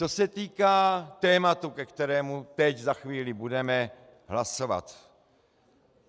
Co se týká tématu, o kterém teď za chvíli budeme hlasovat.